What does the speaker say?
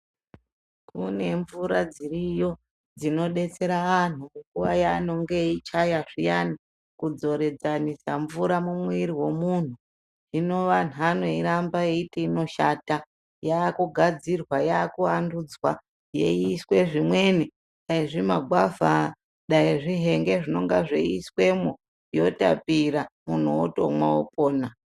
Kune mvura dziriyo dzinobetsera antu kunguiva yaanenge eichaya zviyani kudzoredzanisa mvura mumwiri vomuntu. Hino vantu vanoiramba veiti inoshata yakugadzirwa yakuvandudzwa yeiiswe zvimweni dai zvimagwavha dai zvihenge zvinenge zveiiswemwo yotapira muntu otomwa opona.